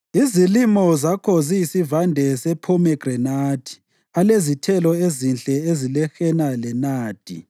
Izilimo zakho ziyisivande samaphomegranathi alezithelo ezinhle zilehena lenadi,